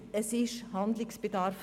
Es besteht Handlungsbedarf.